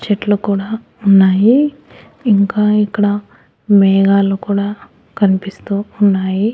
చెట్లు కూడా ఉన్నాయి ఇంకా ఇక్కడ మేఘాలు కూడా కనిపిస్తూ ఉన్నాయి.